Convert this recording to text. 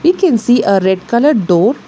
We can see a red colour door.